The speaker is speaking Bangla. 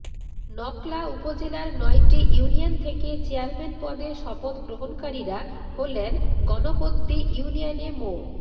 নকলা উপজেলার নয়টি ইউনিয়ন থেকে চেয়ারম্যান পদে শপথ গ্রহণকারীরা হলেন গণপদ্দি ইউনিয়নে মো